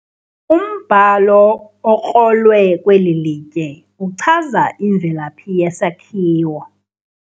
Umbhalo okrolwe kweli litye uchaza imvelaphi yesakhiwo.